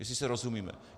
Jestli si rozumíme.